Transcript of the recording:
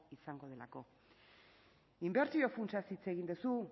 izango delako inbertsio funtsaz hitz egin duzu